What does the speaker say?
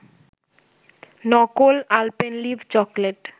নকল Alpenliebe chocolate